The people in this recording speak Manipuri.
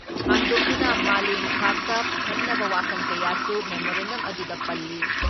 ꯍꯥꯡꯗꯣꯛꯇꯨꯅ ꯃꯥꯂꯦꯝ ꯊꯥꯛꯇ ꯄꯨꯈꯠꯅꯕ ꯋꯥꯐꯝ ꯀꯌꯥꯁꯨ ꯃꯦꯃꯣꯔꯦꯟꯗꯝ ꯑꯗꯨꯗ ꯄꯜꯂꯤ ꯫